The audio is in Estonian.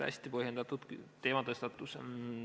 Hästi põhjendatud teematõstatus.